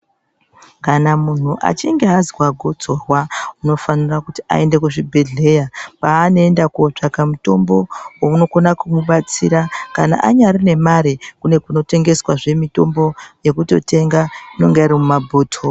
Kana muntu achinge azwa gotsorwa unofanire kuti aende kuzvibhedhleya kwaanoenda kootsvaka mutombo unokona kumubatsira kana anyari nemare kune kunotengeswazve mitombo yekutotenga inonga iri mumabhotoro.